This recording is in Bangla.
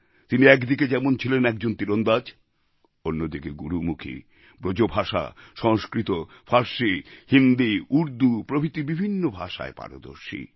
তিনি একদিকে যেমন ছিলেন একজন তীরন্দাজ অন্যদিকে গুরুমুখী ব্রজভাষা সংস্কৃত ফারসী হিন্দি উর্দু প্রভৃতি বিভিন্ন ভাষায় পারদর্শী